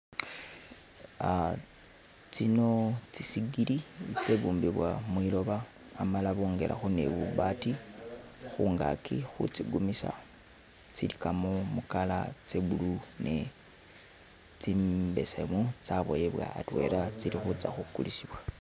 Uh tsino tsisigili tsitsabumbibwa mwiloba amala bogelakho ni bubaatii khungaki khutsikumisa, tsilikamo mu' colour ya' blue ne' tsimbesemu tsaboyebwa atwela tsilikhutsa khukulisibwa